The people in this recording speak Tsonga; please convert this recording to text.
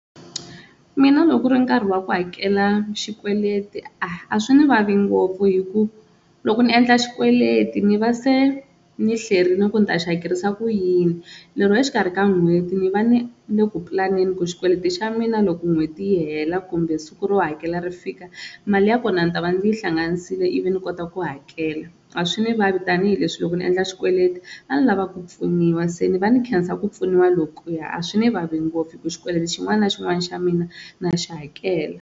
Mina loko ku ri nkarhi wa ku hakela xikweleti a a swi ni vavi ngopfu hi ku loko ni endla xikweleti ni va se ni hlayerile ku ni ta xi hakerisa ku yini, lero exikarhi ka n'hweti ni va ni ni le ku pulaneni ku xikweleti xa mina loko n'hweti yi hela kumbe siku ro hakela ri fika mali ya kona ni ta va ndzi yi hlanganisile ivi ni kota ku hakela, a swi ni vavi tanihileswi loko ni endla xikweleti ni va ni lava ku pfuniwa se ni va ni khensa ku pfuniwa lokuya, a swi ni vava ngopfu hi ku xikweleti xin'wana na xin'wana xa mina na xi hakela.